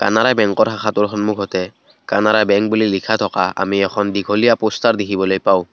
কানাড়া বেংকৰ শাখাটোৰ সন্মুখতে কানাড়া বেংক বুলি লিখা থকা আমি এখন দীঘলীয়া প'ষ্টাৰ দেখিবলৈ পাওঁ।